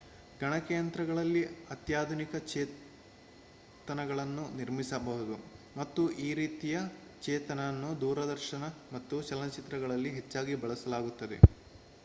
ಗಣಕಯಂತ್ರಗಳಲ್ಲಿ ಅತ್ಯಾಧುನಿಕ ಚೇತನಗಳನ್ನು ನಿರ್ಮಿಸಬಹುದು ಮತ್ತು ಈ ರೀತಿಯ ಚೇತನ ಅನ್ನು ದೂರದರ್ಶನ ಮತ್ತು ಚಲನಚಿತ್ರಗಳಲ್ಲಿ ಹೆಚ್ಚಾಗಿ ಬಳಸಲಾಗುತ್ತಿದೆ